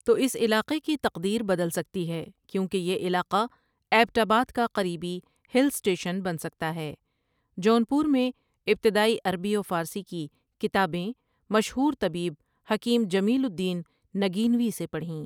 تو اس علاقے کی تقدیر بدل سکتی ہے کیونکہ یہ علاقہ ایبٹ آباد کا قریبی ہل سٹیشن بن سکتا ہے جون پور میں ابتدائی عربی و فارسی کی کتابیں مشہور طبیب حکیم جمیل الدین نگینوی سے پڑؑہیں ۔